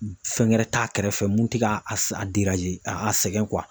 Fɛn wɛrɛ t'a kɛrɛfɛ mun tɛ k'a a a sɛgɛn.